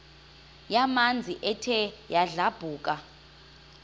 yamanzi ethe yadlabhuka